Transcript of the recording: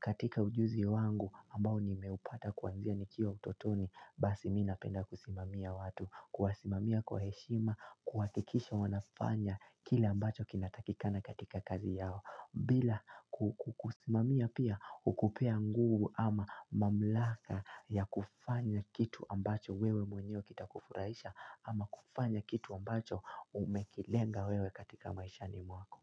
katika ujuzi wangu ambao nimeupata kwanzia nikiwa utotoni, basi mimi napenda kusimamia watu. Kuwasimamia kwa heshima, kuhakikisha wanafanya kila ambacho kinatakikana katika kazi yao. Bila kukusimamia pia hukupea nguvu ama mamlaka ya kufanya kitu ambacho wewe mwenyew kita kufurahisha ama kufanya kitu ambacho umekilenga wewe katika maishani mwako.